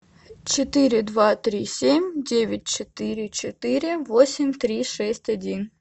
четыре два три семь девять четыре четыре восемь три шесть один